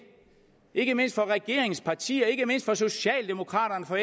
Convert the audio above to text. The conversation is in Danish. ikke mindst for regeringens partier ikke mindst for socialdemokraterne og